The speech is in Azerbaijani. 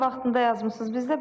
Siz tam vaxtında yazmısınız.